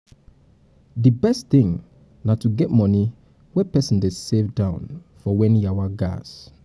di best thing na to get money wey person dey save down for when yawa gas